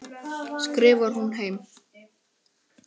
skrifar hún heim.